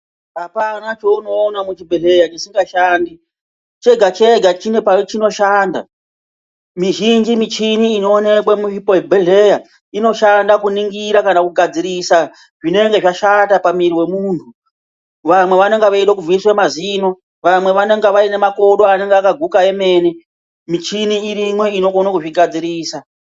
Apana chaunoona muzvibhedhlera chisingashandi chega chega chine pachinoshanda mizhinji michina inoonekwa muzvibhedhlera inoshanda kuningira kana kugadzirisa zvinenge zvashata pamuviri wemunyu vamwe vanenge vachida kubviswa mazino vamwe vanenge vakaguka kwemene michini iriyo inokona kuigadzirisa.